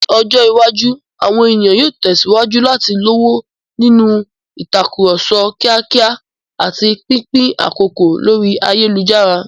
Ní ọjọ́ iwájú, àwọn ènìyàn yóò tẹ̀síwájú láti lọ́wọ́ nínú ìtàkùrọ̀sọ kíákíá àti pínpín àkókò lórí ayélujára.